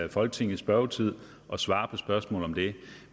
i folketingets spørgetid og svarer på spørgsmål om det